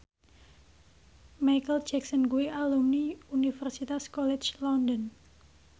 Micheal Jackson kuwi alumni Universitas College London